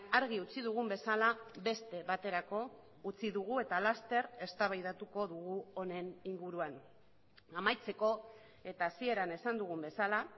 argi utzi dugun bezala beste baterako utzi dugu eta laster eztabaidatuko dugu honen inguruan amaitzeko eta hasieran esan dugun bezala